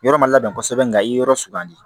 Yɔrɔ ma labɛn kosɛbɛ nka i ye yɔrɔ sugandi